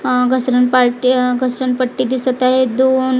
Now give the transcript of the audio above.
अ घसरण पार्टी आह घसरण पट्टी दिसत आहे दोन आह--